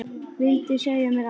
Vildi segja mér allt.